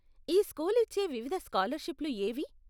ఈ స్కూల్ ఇచ్చే వివిధ స్కాలర్షిప్లు ఏవి?